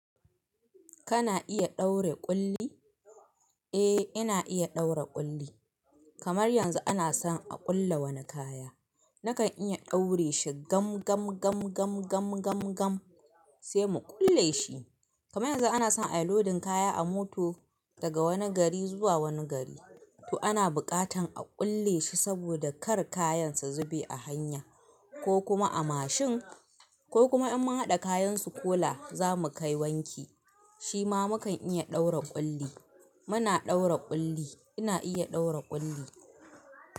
Kana iya ɗaura ƙulli? Eh, ina iya ɗaura ƙulli. Kamar yanzu ana son a ƙulle wani kaya. Nakan iya ɗaure shi gam gam gam gam gam gam gam sai mu ƙulle shi. Kamar yanzu ana son a yi lodin kaya a mota daga wani gari zuwa wani gari. To ana buƙatan a ƙulle shi saboda kar kayan su zube a hanya ko kuma a mashin ko kuma in mun haɗa kayan su kola zamu kai wanki. Shi ma mukan iya ɗaura ƙulli. Muna ɗaura ƙulli. Ina iya ɗaura ƙulli.